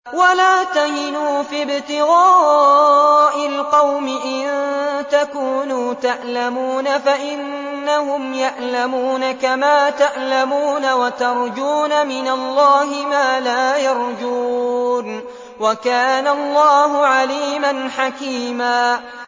وَلَا تَهِنُوا فِي ابْتِغَاءِ الْقَوْمِ ۖ إِن تَكُونُوا تَأْلَمُونَ فَإِنَّهُمْ يَأْلَمُونَ كَمَا تَأْلَمُونَ ۖ وَتَرْجُونَ مِنَ اللَّهِ مَا لَا يَرْجُونَ ۗ وَكَانَ اللَّهُ عَلِيمًا حَكِيمًا